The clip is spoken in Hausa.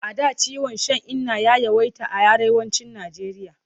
A da ciwon shan inna ya yawaita a Arewacin Nijeriya.